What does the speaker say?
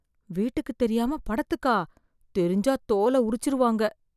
வீட்டுக்குத் தெரியாம படத்துக்கா, தெரிஞ்சா தோல உரிச்சுருவாங்க.